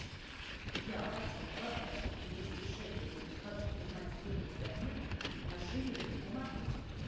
я хочу продать двести шекелей и хочу узнать стоимость обмена на шиллинги помогите